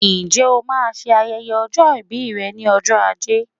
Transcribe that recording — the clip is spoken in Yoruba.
Ǹjẹ́ o máa ṣe ayẹyẹ ọjọ́ ìbí rẹ ní ọjọ́ ajé